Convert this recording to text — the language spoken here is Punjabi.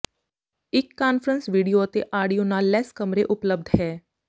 ਇੱਕ ਕਾਨਫਰੰਸ ਵੀਡੀਓ ਅਤੇ ਆਡੀਓ ਨਾਲ ਲੈਸ ਕਮਰੇ ਉਪਲਬਧ ਹੈ